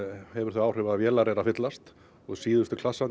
hefur þau áhrif að vélar eru að fyllast og síðustu